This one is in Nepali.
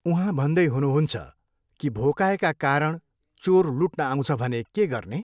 उहाँ भन्दै हुनुहुन्छ कि भोकाएका कारण चोर लुट्न आउँछ भने के गर्ने?